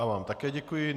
Já vám také děkuji.